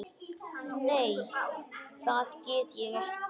Nei það get ég ekki.